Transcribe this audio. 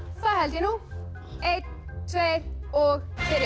það held ég nú einn tveir og byrja